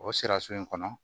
O sira so in kɔnɔ